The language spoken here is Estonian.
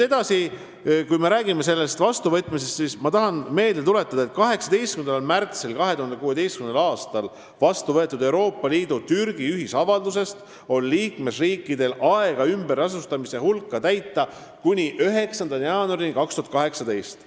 Edasi, kui me räägime sellest vastuvõtmisest, siis ma tahan meelde tuletada, et 18. märtsil 2016. aastal vastu võetud Euroopa Liidu ja Türgi ühisavalduse alusel on liikmesriikidel aega ümberasustamise kavas ettenähtut täita kuni 9. jaanuarini 2018.